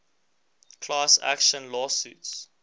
class action lawsuits